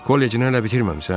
Kollecini hələ bitirməmisən?